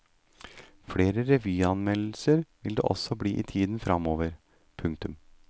Flere revyanmeldelser vil det også bli i tiden fremover. punktum